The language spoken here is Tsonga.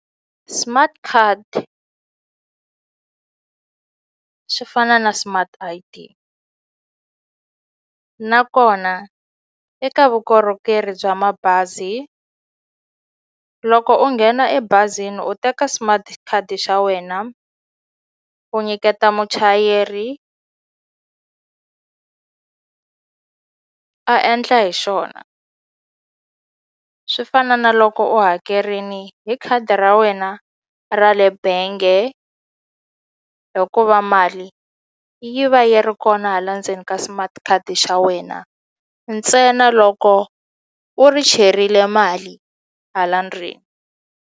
Smart card, swi fana na smart I_D nakona eka vukorhokeri bya mabazi loko u nghena ebazini u teka smart card xa wena u nyiketa muchayeri a endla hi xona swi fana na loko u hakerini hi khadi ra wena ra le bange hikuva mali yi va yi ri kona hala ndzeni ka smart card xa wena ntsena loko u ri cherile mali hala ndzeni.